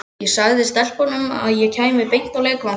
Ég sagði stelpunum að ég kæmi beint á leikvanginn.